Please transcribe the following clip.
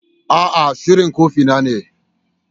A'a, shuɗin kofi na ne.